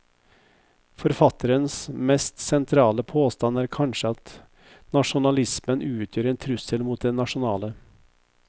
Forfatterens mest sentrale påstand er kanskje at nasjonalismen utgjør en trussel mot det nasjonale.